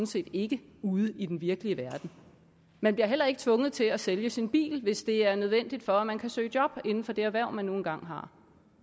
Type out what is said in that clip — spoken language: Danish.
set ikke ude i den virkelige verden man bliver heller ikke tvunget til at sælge sin bil hvis det er nødvendigt for at man kan søge job inden for det erhverv man nu engang har